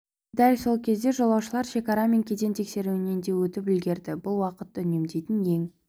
дәл сол кезде жолаушылар шекара мен кеден тексеруінен де өтіп үлгереді бұл уақытты үнемдейтін ең